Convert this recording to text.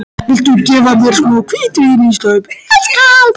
Viltu gefa mér smá hvítvín í staup, elskan?